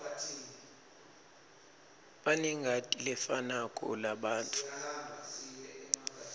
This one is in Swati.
banengati lefanako labantfu